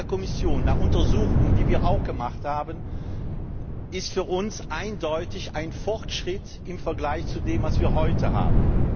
Der Vorschlag der Kommission nach Untersuchungen, die wir auch gemacht haben, ist für uns eindeutig ein Fortschritt im Vergleich zu dem, was wir heute haben.